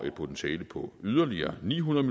et potentiale på yderligere ni hundrede